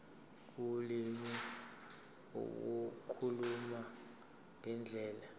ulimi ukukhuluma ngendlela